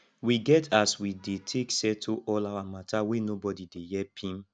we get as we dey take settle all our mata wey nobodi dey her pim